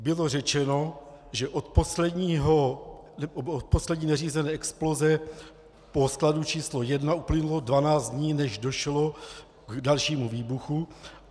Bylo řečeno, že od poslední neřízené exploze toho skladu číslo 1 uplynulo 12 dní, než došlo k dalšímu výbuchu.